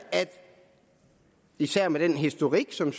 især med den historik som